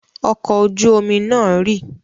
Ọkọ̀ ojú-omi náà rì?